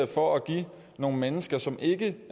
for at give nogle mennesker som ikke